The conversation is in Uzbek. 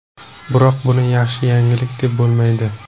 Biroq buni yaxshi yangilik deb bo‘lmaydi.